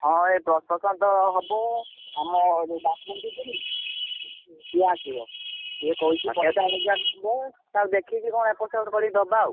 ହଁ ଏଇ prosecution ତ ହବ ଆମ ପାରକୁଣ୍ଡି ଯିଏ ନୁହ ସିଏ ଆସିବ ସିଏ କହିଛି ପଚାଶ ହଜାର ନବ ଦେଖିକି ତାକୁ ଏପଟ ସେପଟ କରିକି ଦବା ଆଉ।